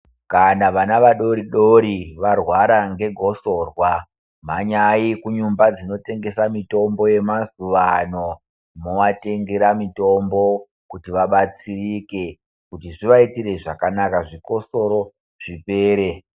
Kana vana vadori-dori varwara ngegosorwa, mhanyi kunyumba dzinotengese mitombo yemazuva ano, movatengere mitombo kuti vabetsereke kuti zvivaitire zvakanaka zvikosoro zvipere.